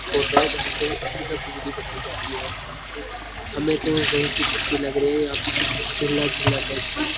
तो टवाय जहा से ये मतलब बिजली बनाई जाती है हमें तो कोई की तस्वीर लग रही है और यहाँ पे कुछ झुल्ला झुल्ला टाइप का है।